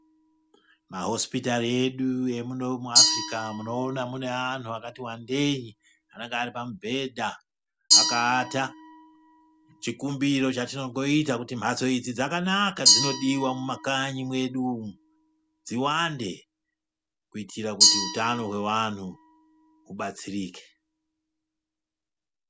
Mahosipitari edu emuno muAfrica munoona mune anhu akati wandei anenge ari pamubhedha akaata. Chikumbiro chatinongoita kuti mhatso idzi dzakanaka dzinodiwa mumakanyi mwedu umu, dziwande kuitira kuti hutano hwevanhu hubatsirike.